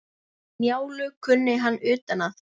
Njálu kunni hann utan að.